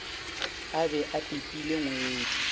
a be a pipile ngwedi